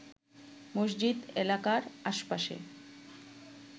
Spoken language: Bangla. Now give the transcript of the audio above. মসজিদ এলাকার আশপাশে